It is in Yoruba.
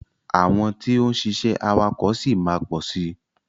Àwọn tí ó ń ṣiṣẹ́ awakọ̀ ṣì máa pọ̀ sí.